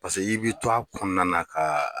Paseke i b'i to a kɔnɔna na ka